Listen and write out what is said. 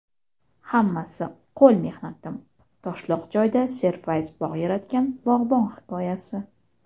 "Hammasi – qo‘l mehnatim" — toshloq joyda serfayz bog‘ yaratgan bog‘bon hikoyasi.